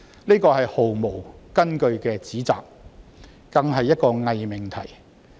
這是毫無根據的指責，更是一個偽命題。